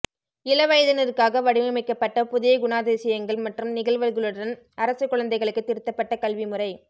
இளவயதினருக்காக வடிவமைக்கப்பட்ட புதிய குணாதிசயங்கள் மற்றும் நிகழ்வுகளுடன் அரச குழந்தைகளுக்கு திருத்தப்பட்ட கல்வி முறை